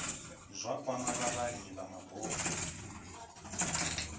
zwa kwama vhavhali vha mabofu